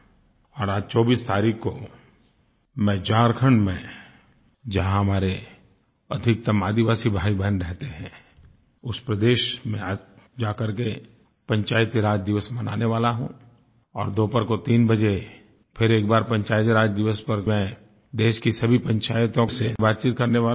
और आज 24 तारीख़ को मैं झारखण्ड में जहाँ हमारे अधिकतम आदिवासी भाईबहन रहते हैं उस प्रदेश में आज जा करके पंचायती राज दिवस मनाने वाला हूँ और दोपहर को 3 बजे फिर एक बार पंचायती राज दिवस पर मैं देश की सभी पंचायतों से बातचीत करने वाला हूँ